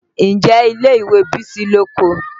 Ǹjẹ́ ilé ìwé Bísí lóko?